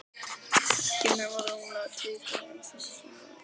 Ekki nema rúmlega tvítug en samt svona illa farin.